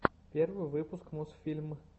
первый выпуск мосфильм